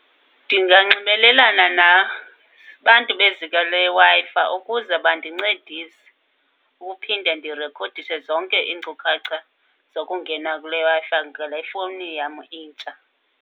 Ndinganxibelelana nabantu beziko leWi-Fi ukuze bandincedise ukuphinde ndirekhodishe zonke iinkcukacha zokungena kule Wi-Fi ngale fowuni yam intsha.